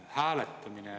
Eelnõu eesmärk on väga lihtne.